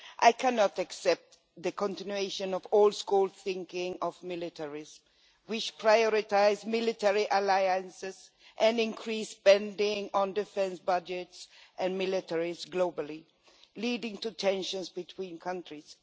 I cannot accept the continuation of old school militaristic thinking, with priority afforded to military alliances and increased spending on defence budgets and militaries globally, leading to tensions between countries.